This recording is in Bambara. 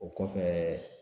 O kɔfɛ